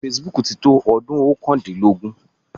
Facebook ti tó ọdún oókàndínlógún.